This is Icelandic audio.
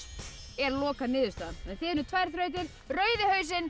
er lokaniðurstaðan þið unnuð tvær þrautir rauði hausinn